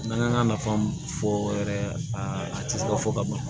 N'an k'an ka nafa fɔ yɛrɛ a tɛ se ka fɔ ka ban